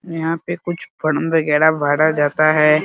यहाँ पे कुछ फॉर्म वैगेरा भरा जाता है ।